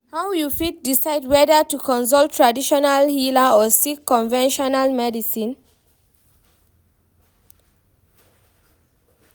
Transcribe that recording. How you fit decide whether to consult traditional healer or seek conventional medicine?